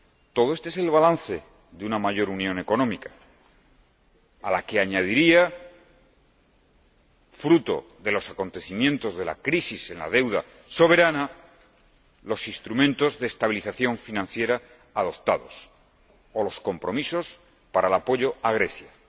Todo esto es el balance de una mayor unión económica, a la que añadiría —fruto de los acontecimientos de la crisis en la deuda soberana— los instrumentos de estabilización financiera adoptados o los compromisos para el apoyo a Grecia.